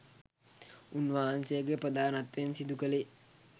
උන්වහන්සේගේ ප්‍රධානත්වයෙන් සිදු කළේ.